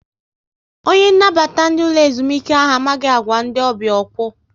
Onye nnabata ndị ụlọ ezumike ahụ amaghị agwa ndị ọbịa okwu